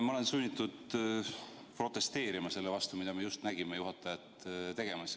Ma olen sunnitud protesteerima selle vastu, mida me just nägime juhatajat tegemas.